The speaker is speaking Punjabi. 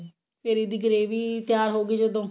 ਫਿਰ ਇਹਦੀ gravy ਤਿਆਰ ਹੋ ਗਈ ਜਦੋਂ